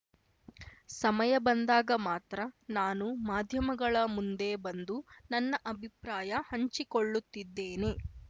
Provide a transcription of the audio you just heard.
ಸಮಯ ಬಂದಾಗ ಮಾತ್ರ ನಾನು ಮಾಧ್ಯಮಗಳ ಮುಂದೆ ಬಂದು ನನ್ನ ಅಭಿಪ್ರಾಯ ಹಂಚಿಕೊಳ್ಳುತ್ತಿದ್ದೇನೆ